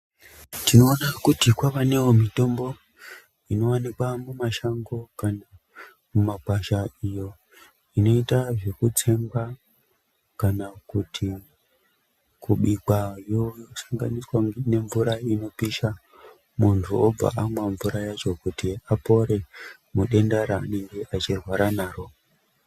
Tinoona kuti kwavanewo mitombo inowanikwa mumashango kana mumakwasha iyo inoita zvekutsengwa kana kuti kubikwa yosanganiswa nemvura inopisha muntu obva amwa mvura yacho kuti apore mudenda raanenge achirwara naro.